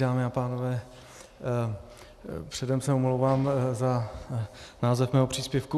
Dámy a pánové, předem se omlouvám za název svého příspěvku.